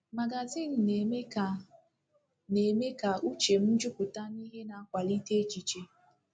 Magazịn na-eme ka na-eme ka uche m jupụta n'ihe na-akwalite echiche.